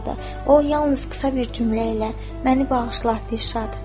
O yalnız qısa bir cümlə ilə "Məni bağışla, Dirşad" dedi.